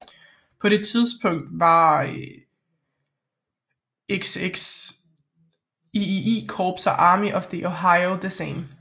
På det tidspunkt var XXIII Korps og Army of the Ohio det samme